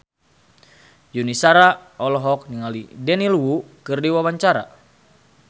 Yuni Shara olohok ningali Daniel Wu keur diwawancara